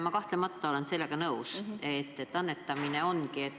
Ma kahtlemata olen sellega nõus, et annetamist on ikka olnud.